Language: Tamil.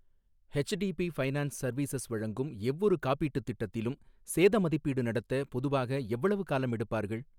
ஹெச்டிபி ஃபைனான்ஸ் சர்வீசஸ் வழங்கும் எவ்வொரு காப்பீட்டுத் திட்டத்திலும் சேத மதிப்பீடு நடத்த பொதுவாக எவ்வளவு காலம் எடுப்பார்கள்?